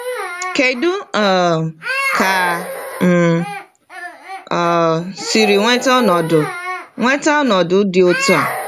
Kedụ um ka m um siri nweta ọnọdụ nweta ọnọdụ dị otú a?